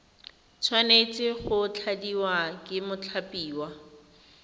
tshwanetse go tladiwa ke mothapiwa